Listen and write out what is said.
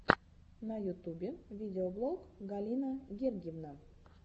на ютубе видеоблог галина гергивна